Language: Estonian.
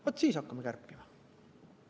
Vaat siis hakkame kärpima.